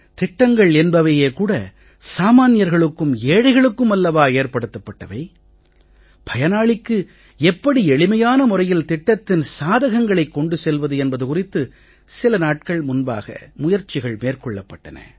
திட்டங்கள் என்பவையே கூட சாமான்யர்களுக்கும் ஏழைகளுக்கும் அல்லவா ஏற்படுத்தப் பட்டவை பயனாளிக்கு எப்படி எளிமையான முறையில் திட்டத்தின் சாதகங்களைக் கொண்டு செல்வது என்பது குறித்து சில நாட்கள் முன்பாக முயற்சிகள் மேற்கொள்ளப் பட்டன